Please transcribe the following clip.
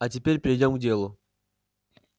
а теперь перейдём к делу